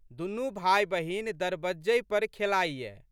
दुनू भायबहिन दरबज्जहि पर खेलाइये।